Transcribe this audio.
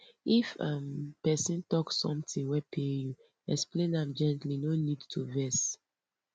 if um pesin talk something wey pain you explain am gently no need to vex